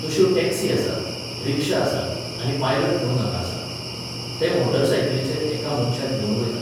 तश्यो टॅक्सी आसात, रिक्षा आसात आनी पायलट म्हुणून हांगा आसात. ते मोटार सायकलीचेर एका मनशाक घेवन वयतात.